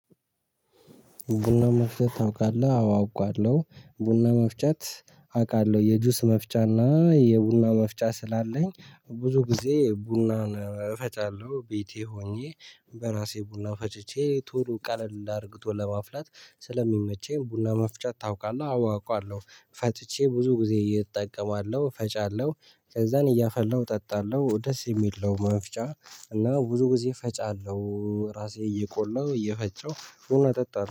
ቡና መፍጨት ታውቃለህ? አዎ አውቃለሁ። ቡና መፍጨት አውቃለሁ የጁስ መፍጫና የቡና መፍጫ ስላለኝ ብዙ ጊዜ ቡናን እፈጫለሁ። ቤቴ ሆኜ በራሴ ቡና ፈጭቼ ቶሎ ቀለል አድርግቶ ለማፍላት ስለሚመቸኝ ቡና መፍጨት ታውቃለህ አወ አውቃለሁ። ፈጭቼ ብዙ ጊዜ እጠቀማለሁ ፈጫለሁ ከዛን እያፈላሁ እጠጣለሁ ደስ የሚል ነው መፍጫ እና ብዙ ጊዜ ፈጫለሁ ራሴ እየቆላሁ እየፈጨሁ ቡና እጠጣለሁ